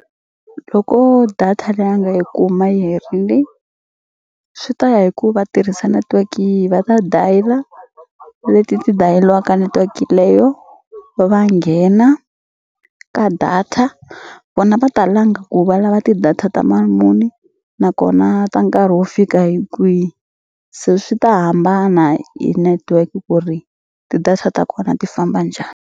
Loko data leyi a nga yi kuma yi herini swi ta ya hi ku va tirhisa network yihi va ta dial-a leti ti dayeliwa network-i leyo va va nghena ka data vona va ta langa ku valava ti-data ta mali muni nakona ta nkarhi wo fika hi kwihi se swi ta hambana hi network ku ri ti-data ta kona ti famba njhani.